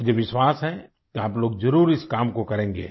मुझे विश्वास है कि आप लोग ज़रूर इस काम को करेंगे